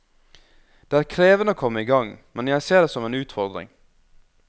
Det er krevende å komme igang, men jeg ser det som en utfordring.